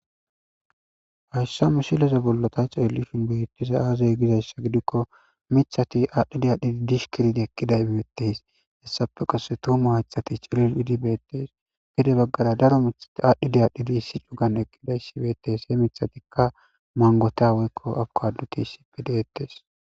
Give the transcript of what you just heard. hassa misileze bollota xellishinn beettiza aazey gidayssa gidikko mithati aadhdhi diyadhidi dish kirid eqqiday mettes hessape qase tumu haythati cilil idi beettes gide baggara daro mithati aadhdhi diadhidi issi cugan eqqidaysi beettes he mithatikka mangota woykko abko adduti isipe deettes